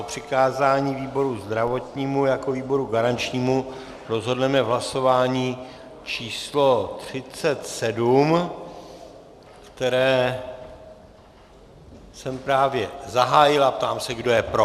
O přikázání výboru zdravotnímu jako výboru garančnímu rozhodneme v hlasování číslo 37, které jsem právě zahájil, a ptám se, kdo je pro.